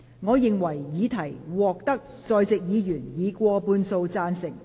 我認為議題獲得在席議員以過半數贊成。